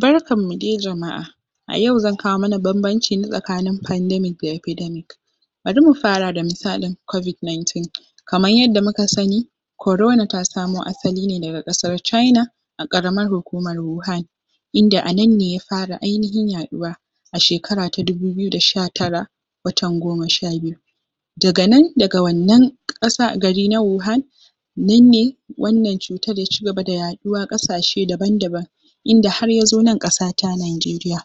Barkanmu de jama’a, a yau zan kawo mana bambanci ne tsakanin pandemic da epidemic bari mu fara da misalin covid nineteen kaman yanda muka sani corona ta samo asali ne daga ƙasar China a ƙaramar hukumar Wuhan inda a nan ne ya fara ainihin yaɗuwa a shekara ta dubu biyu da sha tara watan goma sha biyu daga nan, daga wannan ƙasa gari na Wuhan nan ne wannan cutar ya cigaba da yaɗuwa ƙasashe daban-daban inda har ya zo nan ƙasata Nijeriya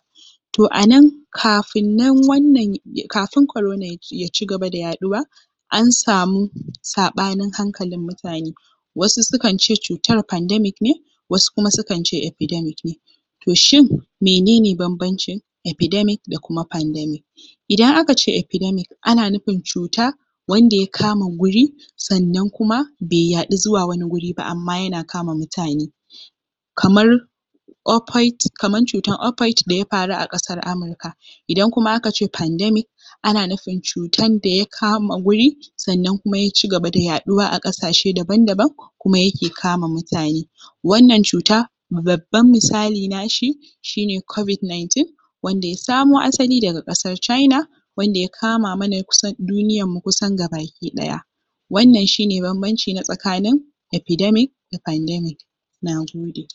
to a nan kafin nan wannan, kafin corona ya cigaba da yaɗuwa an samu saɓanin hankalin mutane, wasu sukan ce cutar pandemic ne wasu kuma sukan ce epidemic ne to shin mene ne bambancin epidemic da kuma pandemic? idan aka ce epidemic ana nufin cuta wanda ya kama guri sannan kuma bai yaɗu zuwa wani guri ba amma yana kama mutane kamar ofoit, kamar cutar ofoit da ya faru a ƙasar Amurka idan kuma aka ce pandemic ana nufin cutan da ya kama guri sannan kuma ya cigaba da yaɗuwa a ƙasashe daban-daban kuma yake kama mutane wannan cuta babban misali nashi shi ne covid nineteen wanda ya samo asali daga ƙasar China wanda ya kama mana kusan duniyarmu kusan gaba ki ɗaya, wannan shi ne bambanci na tsakanin epidemic da pandemic na gode